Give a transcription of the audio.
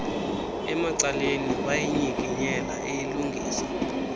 emacaleni wayinyikinyela eyilungisa